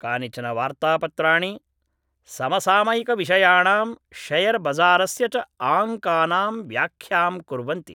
कानिचन वार्तापत्राणि समसामयिकविषयाणां शेयरबजारस्य च आङ्कानां व्याख्यां कुर्वन्ति